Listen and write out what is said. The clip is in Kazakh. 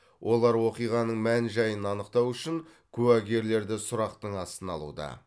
олар оқиғаның мән жайын анықтау үшін куәгерлерді сұрақтың астына алуда